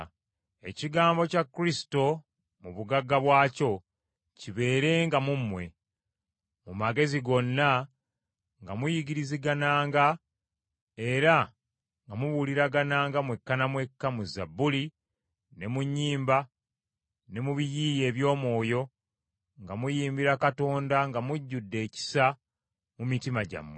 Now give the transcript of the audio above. Ekigambo kya Kristo mu bugagga bwakyo kibeerenga mu mmwe, mu magezi gonna nga muyigirizagananga era nga mubuuliragananga mwekka na mwekka mu Zabbuli, ne mu nnyimba, ne mu biyiiye eby’omwoyo nga muyimbira Katonda nga mujjudde ekisa mu mitima gyammwe.